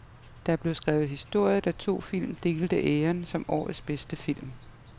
Der blev skrevet historie, da to film delte æren som årets bedste film.